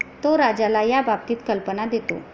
तो राजाला याबाबतीत कल्पना देतो.